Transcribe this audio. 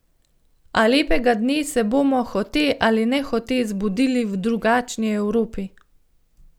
A lepega dne se bomo, hote ali nehote, zbudili v drugačni Evropi.